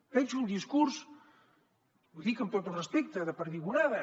veig un discurs ho dic amb tot el respecte de perdigonada